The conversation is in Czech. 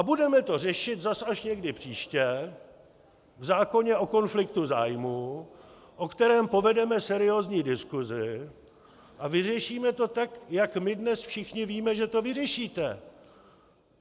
A budeme to řešit zas až někdy příště v zákoně o konfliktu zájmů, o kterém povedeme seriózní diskusi, a vyřešíme to tak, jak my dnes všichni víme, že to vyřešíte.